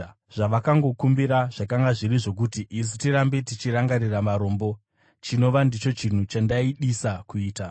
Zvavakangokumbira zvakanga zviri zvokuti isu tirambe tichirangarira varombo, chinova ndicho chinhu chandaidisa kuita.